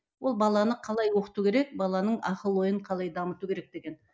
ол баланы қалай оқыту керек баланың ақыл ойын қалай дамыту керек деген